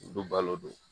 Olu balo don